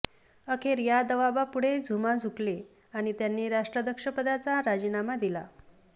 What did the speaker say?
अखेर या दबावापुढे झुमा झुकले आणि त्यांनी राष्ट्राध्यक्षपदाचा राजीनामा दिला